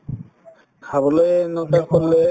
খাবলয়ে নো তাত